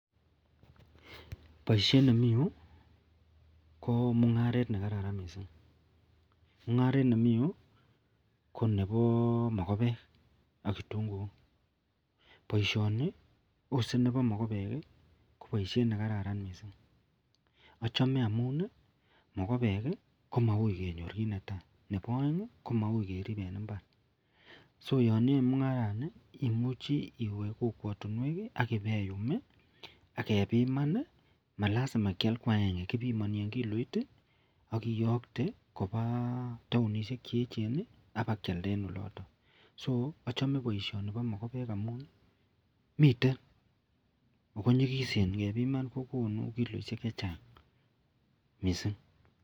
Baishet nemiyu ko ba mungaret Nebo rabishek mungaret nemi Yu konebi mogobekbaishoni ak kitunguik Ose Koba mogobek ko baishet nekararan mising achome amun mogobek komau kenyor en gaa Nebo aeng komaui kerib en imbar so yaniyoe mungarani imuchi iwe kokwatinwek agebiman akomalazima kial agenge kibimani en kikoit akiyokte Koba taonishiek cheyechen akebakialda (so)achome baishoni ako manyikisen ngepiman